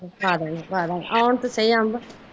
ਪਾਦਗੀ ਪਾਦਗੀ ਆਉਣ ਤੇ ਸੀ ਅੰਬ